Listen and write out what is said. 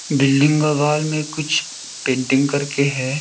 Building का wall में कुछ पेंटिंग करके है।